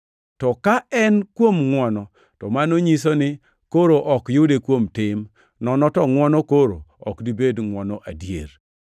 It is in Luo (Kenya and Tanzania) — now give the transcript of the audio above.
To ka en kuom ngʼwono, to mano nyiso ni koro ok yude kuom tim, nono to ngʼwono koro ok dibed ngʼwono adier.